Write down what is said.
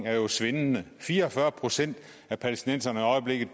er jo svindende fire og fyrre procent af palæstinenserne